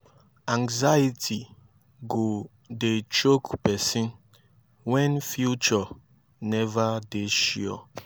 anxiety go dey choke pesin wen future neva dey sure